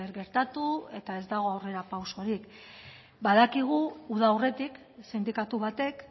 gertatu eta ez dago aurrerapausorik badakigu uda aurretik sindikatu batek